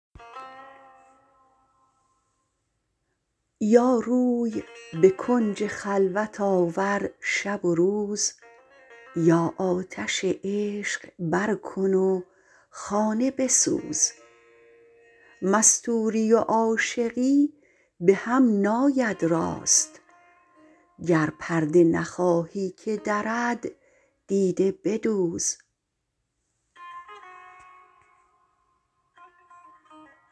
یا روی به کنج خلوت آور شب و روز یا آتش عشق بر کن و خانه بسوز مستوری و عاشقی به هم ناید راست گر پرده نخواهی که درد دیده بدوز